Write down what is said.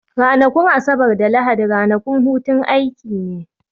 Ranakun Asabar da Lahadi ranakun hutun aiki ne